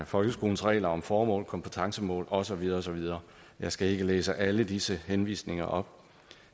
folkeskolens regler om formål kompetencemål og så videre og så videre jeg skal ikke læse alle disse henvisninger op